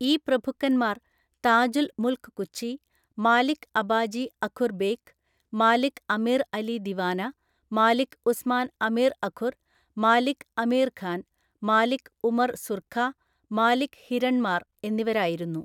ഈ പ്രഭുക്കന്മാർ താജുൽ മുൽക് കുച്ചി, മാലിക് അബാജി അഖുർ ബേക്ക്, മാലിക് അമീർ അലി ദിവാന, മാലിക് ഉസ്മാൻ അമീർ അഖുർ, മാലിക് അമീർ ഖാൻ, മാലിക് ഉമർ സുർഖ, മാലിക് ഹിരൺമാർ എന്നിവരായിരുന്നു.